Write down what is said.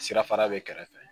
Sirafara bɛ kɛrɛfɛ